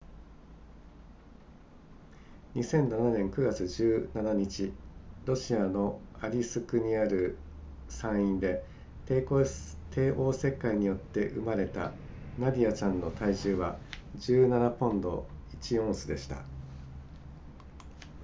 2007年9月17日ロシアのアリスクにある産院で帝王切開によって生まれたナディアちゃんの体重は17ポンド1オンスでした